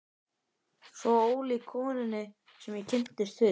Svo ólík konunni sem ég kynntist fyrst.